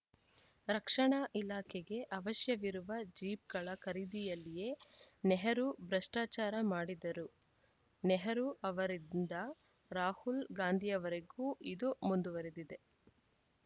ರಕ್ಷಣಾ ಇಲಾಖೆಗೆ ಅವಶ್ಯವಿರುವ ಜೀಪ್‌ಗಳ ಖರೀದಿಯಲ್ಲಿಯೇ ನೆಹರು ಭ್ರಷ್ಟಾಚಾರ ಮಾಡಿದ್ದರು ನೆಹರು ಅವರಿಂದ ರಾಹುಲ್‌ ಗಾಂಧಿವರೆಗೂ ಇದು ಮುಂದುವರೆದಿದೆ